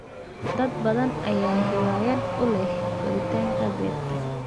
Dad badan ayaa hiwaayad u leh koritaanka dhirta.